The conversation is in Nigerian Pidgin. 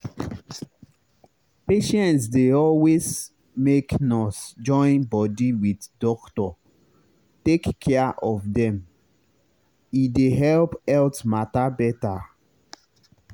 patients dey always make nurse join body wit doctor take care of dem e dey help health matter better.